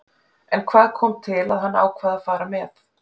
En hvað kom til að hann ákvað að fara með?